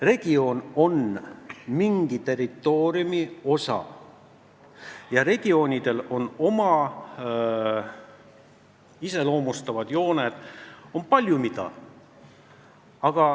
Regioon on mingi territooriumi osa ja regioonidel on neid iseloomustavad jooned, paljugi mida.